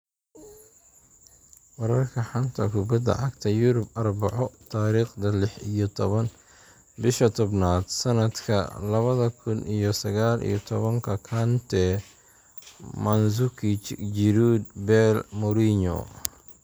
Wararka xanta kubada cagta Yurub Arbaco Tariqda lix iyo toban bisha tobnaad sanadka labada kun iyo sagal iyo tobanka Kante, Mandzukic, Giroud, Bale, Mourinho